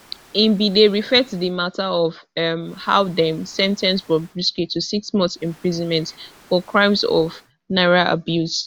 e bin dey refer to di mata of um how dem sen ten ce bobrisky to six months imprisonment for crimes of naira abuse